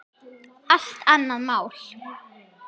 Allt annað mál.